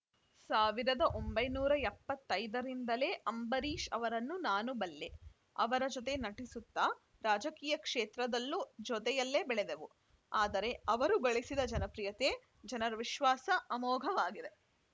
ಸಾವಿರದ ಒಂಬೈನೂರ ಎಪ್ಪತ್ತ್ ಐದರಿಂದಲೇ ಅಂಬರೀಷ್‌ ಅವರನ್ನು ನಾನು ಬಲ್ಲೆ ಅವರ ಜೊತೆ ನಟಿಸುತ್ತಾ ರಾಜಕೀಯ ಕ್ಷೇತ್ರದಲ್ಲೂ ಜೊತೆಯಲ್ಲೇ ಬೆಳೆದೆವು ಆದರೆ ಅವರು ಗಳಿಸಿದ ಜನಪ್ರಿಯತೆ ಜನರ ವಿಶ್ವಾಸ ಅಮೋಘವಾಗಿದೆ